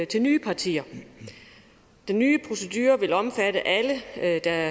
til nye partier den nye procedure vil omfatte alle der